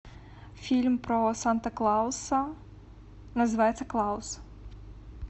фильм про санта клауса называется клаус